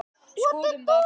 Skoðum það.